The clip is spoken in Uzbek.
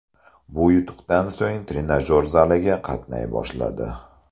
Bu yutuqdan so‘ng u trenajyor zaliga qatnay boshladi.